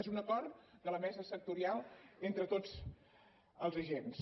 és un acord de la mesa sectorial entre tots els agents